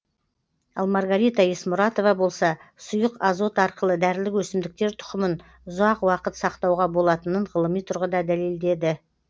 ал маргарита есмұратова болса сұйық азот арқылы дәрілік өсімдіктер тұқымын ұзақ уақыт сақтауға болатынын ғылыми тұрғыда дәлелдеді